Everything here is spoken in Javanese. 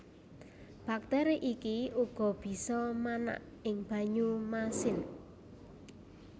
Bakteri iki uga bisa manak ing banyu masin